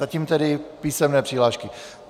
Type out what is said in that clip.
Zatím tedy písemné přihlášky.